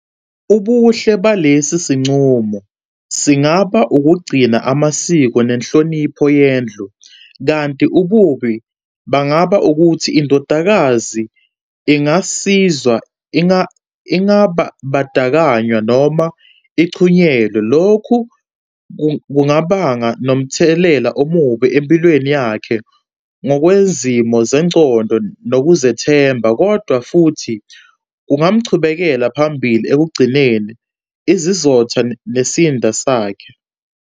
Ubuhle balesi sinqumo singaba ukugcina amasiko nenhlonipho yendlu kanti ububi bangaba ukuthi indodakazi ingasizwa ingabadakanywa noma ichunyelwe. Lokhu kungabanga nomthelela omubi empilweni yakhe ngokwezimo zengcondo nokuzethemba. Kodwa futhi kungamchubekela phambili ekugcineni izizotha nesinda sakhe.